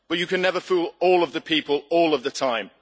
but you can never fool all of the people all of the time'.